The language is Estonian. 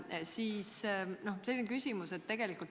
" Siit selline küsimus.